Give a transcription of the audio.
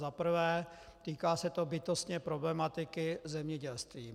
Za prvé, týká se to bytostně problematiky zemědělství.